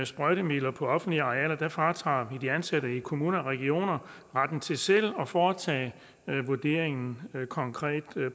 sprøjtemidler på offentlige arealer fratager vi de ansatte i kommuner og regioner retten til selv at foretage vurderingen konkret